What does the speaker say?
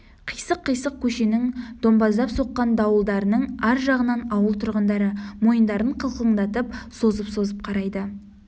қисық-кисық көшенің домбаздап соққан дуалдарының ар жағынан ауыл тұрғындары мойындарын қылқыңдатып созып-созып қарайды